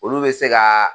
Olu bɛ se ka